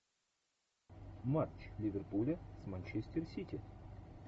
матч ливерпуля с манчестер сити